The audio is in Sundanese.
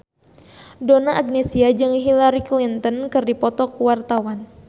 Donna Agnesia jeung Hillary Clinton keur dipoto ku wartawan